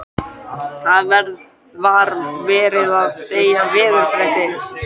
Það var verið að segja veðurfréttir.